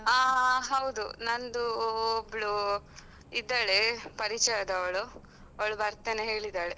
ಹಾ ಹೌದು, ನಂದು ಒಬ್ಳು ಇದ್ದಾಳೆ ಪರಿಚಯದವಳು, ಅವಳು ಬರ್ತೇನೆ ಹೇಳಿದ್ದಾಳೆ.